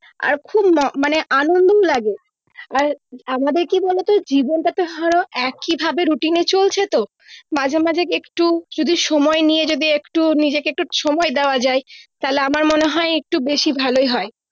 আর খুব ম মানে আনন্দও লাগে আর আমাদের কি বলতো জীবনটা ধরো একি ভাবে routine চলছে তো মাঝে মাঝে একটু যদি সময় নিয়ে যদি একটু নিজেকে একটু সময় দেওয়া যায় তাইলে আমার মনে হয় একটু বেশি ভালোই হয়